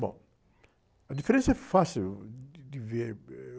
Bom, a diferença é fácil de, de ver. Êh...